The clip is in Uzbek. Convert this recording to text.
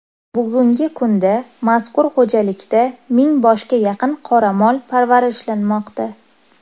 Bugungi kunda mazkur xo‘jalikda ming boshga yaqin qoramol parvarishlanmoqda.